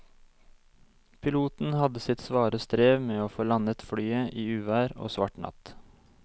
Piloten hadde sitt svare strev med å få landet flyet i uvær og svart natt.